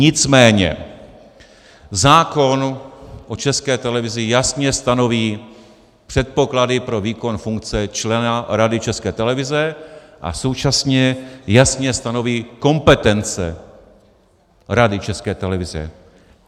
Nicméně zákon o České televizi jasně stanoví předpoklady pro výkon funkce člena Rady České televize a současně jasně stanoví kompetence Rady České televize.